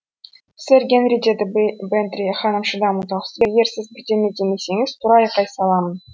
сэр генри деді бэнтри ханым шыдамы таусылып егер сіз бірдеме демесеңіз тура айқай саламын